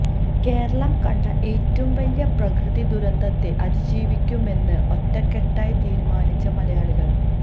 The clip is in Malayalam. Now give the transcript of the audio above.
കേരളം കണ്ട ഏറ്റവും വലിയ പ്രകൃതി ദുരന്തത്തെ അതിജീവിക്കുമെന്ന് ഒറ്റകെട്ടായി തീരുമാനിച്ച് മലയാളികള്